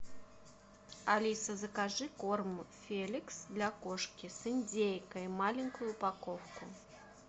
алиса закажи корм феликс для кошки с индейкой маленькую упаковку